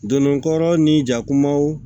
Donnin kɔrɔ ni jakumaw